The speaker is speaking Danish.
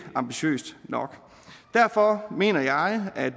ambitiøst nok derfor mener jeg at